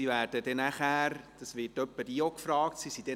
Es wird zuweilen gefragt, ob Gäste dann auch beim Buffet dabei seien.